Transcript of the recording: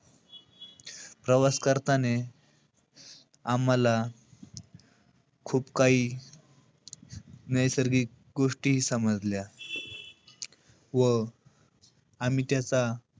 प्रवास करताने आम्हाला खूप काही नैसर्गिक गोष्टीही समजल्या. व आम्ही त्याचा,